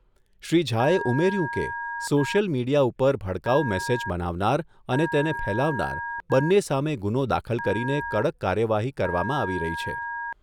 શ્રી ઝાએ ઉમેર્યું કે, સોશિયલ મીડિયા ઉપર ભડકાઉ મેસેજ બનાવનાર અને તેને ફેલાવનાર બંને સામે ગુનો દાખલ કરીને કડક કાર્યવાહી કરવામાં આવી રહી છે.